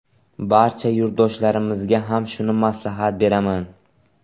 Barcha yurtdoshlarimizga ham shuni maslahat beraman.